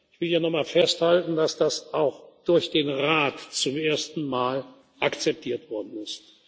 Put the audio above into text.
vorne. Ich will hier noch einmal festhalten, dass das auch durch den Rat zum ersten Mal akzeptiert worden